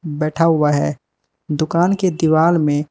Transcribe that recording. बैठा हुआ है दुकान के दिवाल मे --